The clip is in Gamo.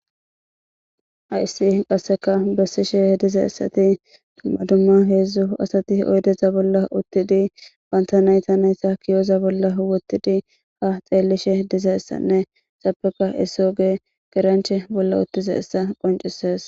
ayssi qasseka bessishe he diza essati dumma dumma heedzdzu asati oydeza bolla uttidi wantanayta nayta kiyoza bolla wottidi ha xeellishe diza essanne sapeka esooge geranche bolla uttiza essa qoncisees